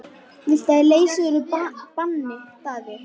Viltu að ég leysi þig úr banni, Daði?